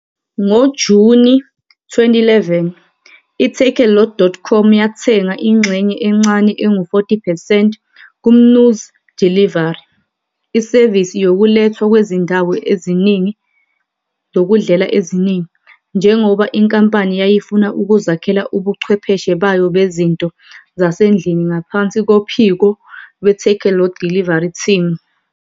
NgoJuni 2011, i-takealot.com yathenga ingxenye encane engu-40 percent kuMnuz Delivery, isevisi yokulethwa kwezindawo zokudlela eziningi, njengoba inkampani yayifuna ukuzakhela ubuchwepheshe bayo bezinto zasendlini ngaphansi kophiko lwe-Takealot Delivery Team.